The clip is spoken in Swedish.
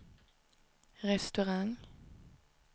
restaurang